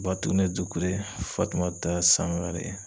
Batune Dukure Fatumata Sangare